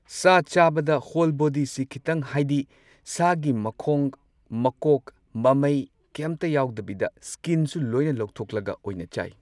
ꯁꯥ ꯆꯥꯕꯗ ꯍꯣꯜ ꯕꯣꯗꯤꯁꯤ ꯈꯇꯪ ꯍꯥꯏꯗꯤ ꯁꯥꯒꯤ ꯃꯈꯣꯡ, ꯃꯀꯣꯛ, ꯃꯃꯩ ꯀꯦꯝꯇ ꯌꯥꯎꯗꯕꯤꯗ ꯁ꯭ꯀꯤꯟꯁꯨ ꯂꯣꯏꯅ ꯂꯧꯊꯣꯛꯂꯒ ꯑꯣꯏꯅ ꯆꯥꯏ꯫